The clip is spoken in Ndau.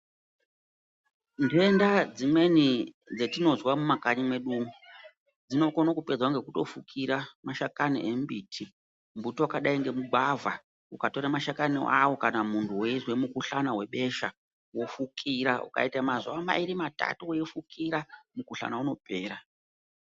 Ndenda dzimweni dzatinozwa mumakanyi mwedu umu dzinokone kupedzwa ngekutofukira mashakani emimbiti mbuti wakadai ngemugwavha ukatora mashakani awo kana munthu weizwa mukuhlani webesha wofukira ukaita mazuwa mairi matatu weifukira mukuhlani unopera.